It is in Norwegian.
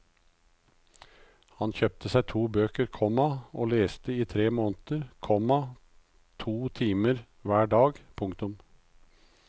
Han kjøpte seg to bøker, komma og leste i tre måneder, komma to timer hver dag. punktum